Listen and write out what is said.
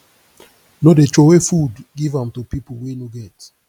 no dey troway food give am to pipu wey no get